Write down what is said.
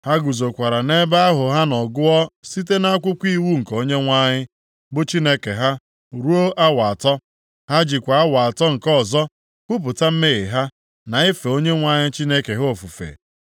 Ha guzokwara nʼebe ahụ ha nọ gụọ site nʼakwụkwọ iwu nke Onyenwe anyị, bụ Chineke ha ruo awa atọ. Ha jikwa awa atọ nke ọzọ kwupụta mmehie ha, na ife Onyenwe anyị Chineke ha ofufe.